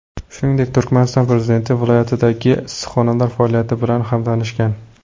Shuningdek, Turkmaniston prezidenti viloyatdagi issiqxonalar faoliyati bilan ham tanishgan.